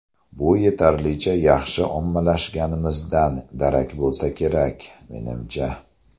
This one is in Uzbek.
Bu yetarlicha yaxshi ommalashganimizdan darak bo‘lsa kerak, menimcha.